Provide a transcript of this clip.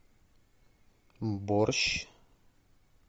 борщ